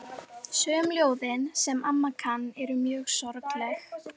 Sum ljóðin, sem amma kann, eru mjög sorgleg.